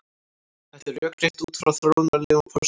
Þetta er rökrétt út frá þróunarlegum forsendum.